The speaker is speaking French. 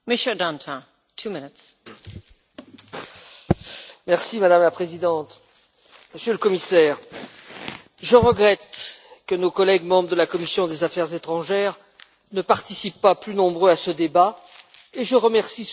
Madame la Présidente, Monsieur le Commissaire, je regrette que nos collègues membres de la commission des affaires étrangères ne participent pas plus nombreux à ce débat et je remercie celui qui en est membre et qui y assiste, car le problème que nous cherchons